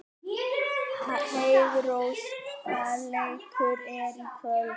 Heiðrós, hvaða leikir eru í kvöld?